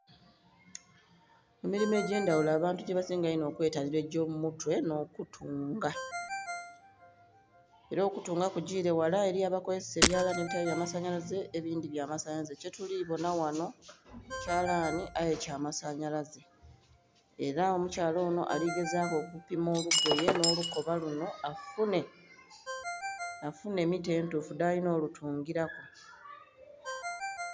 Emilimo egye ndhaghulo abantu ghebasinga okwetanhira egyo mumutwe nho kutunga era okutunga kugile ghala, eriyo abakozesa ebyalanhi ebitali bya masanhyalaze ebindhi tibya masanhyalaze, kye tulibonha ghanho kyalanhi aye kya masanhyalaze era omukyala onho aligezaku okupima olugoye nho lukoba lunho afunhe mita entufu dhalinha olutungila ku.